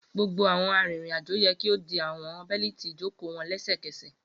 Gbogbo awọn arinrin-ajo yẹ ki o di awọn beliti ijoko wọn lẹsẹkẹsẹ!